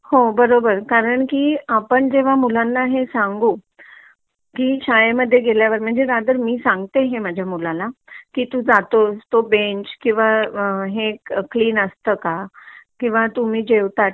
कारण की आपण जेव्हा मुलांना हे सांगू की शाळे मध्ये गेल्यावर रादर मी हे सांगते हे माझ्या मुलाला की तू जातोस तो बेंच क्लीन असतं का किंवा तुम्ही जेवता तुम्ही